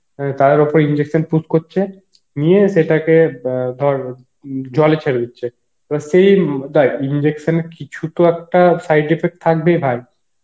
তার ওপর injection push করছে নিয়ে সেটাকে অ্যাঁ ধর উম জলে ছেড়ে দিচ্ছে সেই injection এর কিছু তো একটা side effect থাকবেই ভাই